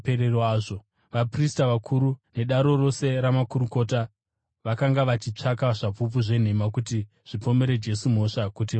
Vaprista vakuru nedare rose ramakurukota vakanga vachitsvaka zvapupu zvenhema kuti zvipomere Jesu mhosva kuti vamuuraye.